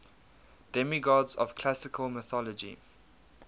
demigods of classical mythology